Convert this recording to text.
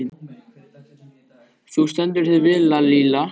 Þú stendur þig vel, Lalíla!